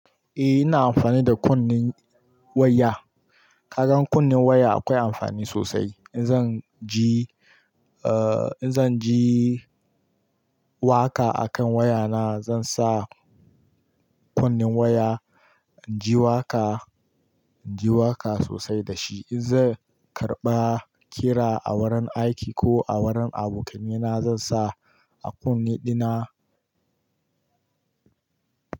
Eh ina amfani da kunnin waya. Kasan kunnin waya akwai amfani sosai. In zan ji, eh in zan ji waƙa akan wayana zan sa kunnin waya, ji waƙa, ji waƙa sosai da shi. In zan karɓa kira a wurin aiki ko a wurin abokainina zan sa a kunne ɗina.